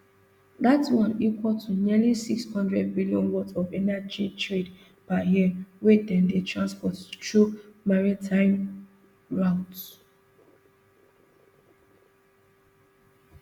dat one equal to nearly six hundred billion worth of energy trade per year wey dem dey transport through maritime routes